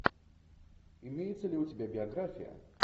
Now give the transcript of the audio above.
имеется ли у тебя биография